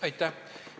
Aitäh!